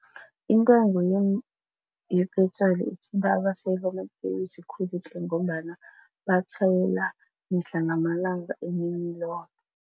Intengo ye-petrol ithinta abatjhayeli bamatekisi khulu tle ngombana batjhayela mihla namalanga emini loke.